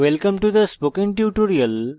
welcome to the spokentutorial